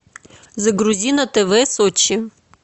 загрузи на тв сочи